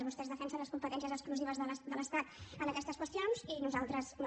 vostès defensen les competències exclusives de l’estat en aquestes qüestions i nosaltres no